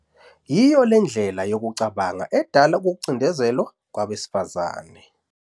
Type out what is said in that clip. Yiyo le ndlela yokucabanga edala ukucindezelwa kwabesifazane.